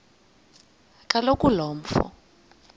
kaloku lo mfo